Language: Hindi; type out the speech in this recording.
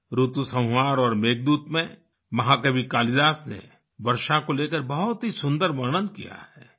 ऋतुसंहार और मेघदूत में महाकवि कालिदास ने वर्षा को लेकर बहुत ही सुंदर वर्णन किया है